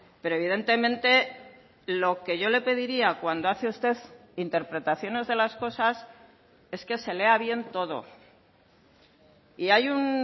pero evidentemente lo que yo le pediría cuando hace usted interpretaciones de las cosas es que se lea bien todo y hay un